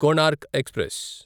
Konark express